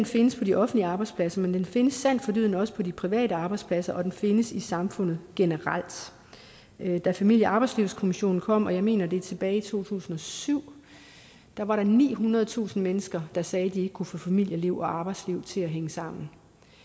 findes på de offentlige arbejdspladser men den findes sandt for dyden også på de private arbejdspladser og den findes i samfundet generelt da familie og arbejdslivskommissionen kom jeg mener det var tilbage i to tusind og syv var der nihundredetusind mennesker der sagde at de ikke kunne få familieliv og arbejdsliv til at hænge sammen